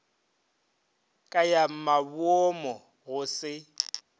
ka ya maboomo go se